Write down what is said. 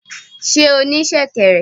Sé o ní sèkèrè?